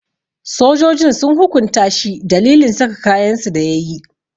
Sojojin sun hukunta shi dalilin saka kayansu da yayi.